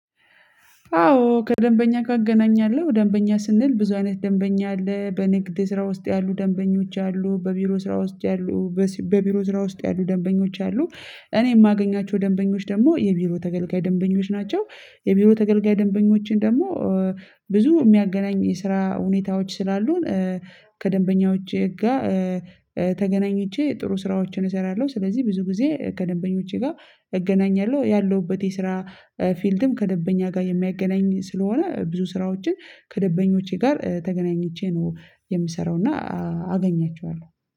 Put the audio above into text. አዎ ከደንበኛ ጋር እገናኛለሁ ደንበኛ ስንል ብዙ አይነት ደንበኛ አለ በንግድ ስራ ውስጥ ያሉ ደንበኞች አሉ በቢሮ ስራ ውስጥ ያሉ በቢሮ ስራ ውስጥ ያሉ ደንበኞች አሉ እኔ የማገኛቸው ደንበኞች ደግሞ የቢሮ ተገልጋይ ደንበኞች ናቸው። የቢሮ ተገልጋይ ደንበኞችን ደግሞ ብዙ የሚያገናኝ የስራ ሁኔታዎች ስላሉን ከደንበኞቼ ጋር ተገናኝቼ ጥሩ ስራዎችን እሰራለሁ ስለዚህ ብዙ ጊዜ ከደንበኞቼ ጋር እገናኛለሁ ያለሁበት የስራ ፊልድም ከደንበኛ ጋር የሚያገናኝ ስለሆነ ብዙ ስራዎችን ከደንበኞቼ ጋር ተገናኝቼ ነው የምሰራው እና አገኛቸዋለሁ።